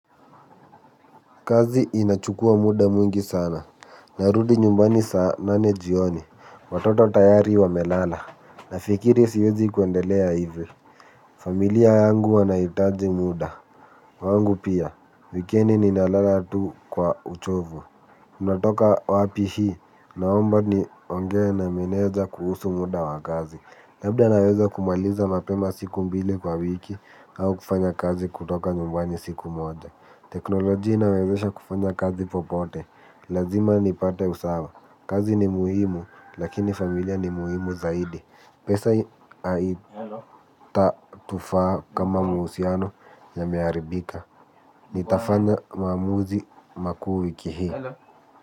Kazi inachukua muda mwingi sana, narudi nyumbani saa nane jioni, watoto tayari wamelala, nafikiri siwezi kuendelea hivyo. Familia yangu wanahitaji muda, wangu pia, wikendi ninalala tu kwa uchovu. Unatoka wapi hii naomba niongee na meneja kuhusu muda wa kazi. Labda naweza kumaliza mapema siku mbili kwa wiki au kufanya kazi kutoka nyumbani siku moja. Teknolojia inawezesha kufanya kazi popote. Lazima nipate usawa. Kazi ni muhimu lakini familia ni muhimu zaidi. Pesa haitatufaa kama mahusiano yameharibika. Nitafanya maamuzi makuu wiki hii.